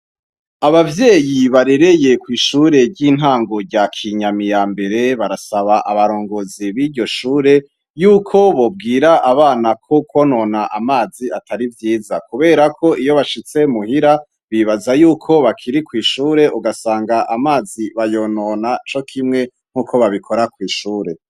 Abavyeyi barereye kw'ishuri ry'intango rya kinyami yambere barasaba abarongozi biryoshure yuko bobwira abana ko kwonona amazi atari vyiza. Kuberako iyobashitse muhira bibaza yuko bakiri kw'ishure ugasanga amazi bayonona cokimwe nkuko bakora kw'ishure.